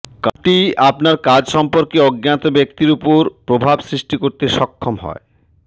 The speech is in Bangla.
কার্ডটি আপনার কাজ সম্পর্কে অজ্ঞাত ব্যক্তি উপর প্রভাব সৃষ্টি করতে সক্ষম হয়